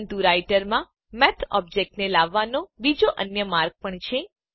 પરંતુ રાઈટરમાં Math object ને લાવવાનો બીજો અન્ય માર્ગ પણ છે